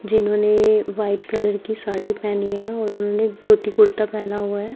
जिन्होने white colour की साड़ी पहनी है और उन्होने धोती कुर्ता पहना हुआ है।